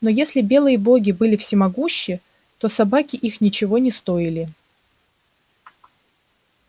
но если белые боги были всемогущи то собаки их ничего не стоили